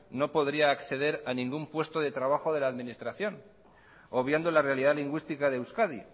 no podría acceder a ningún puesto de trabajo de la administración obviando la realidad lingüística de euskadi